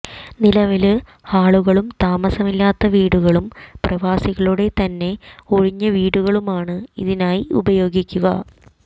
നിലവില് ഹാളുകളും താമസമില്ലാത്ത വീടുകളും പ്രവാസികളുടെ തന്നെ ഒഴിഞ്ഞവീടുകളുമാണ് ഇതിനായി ഉപയോഗിക്കുക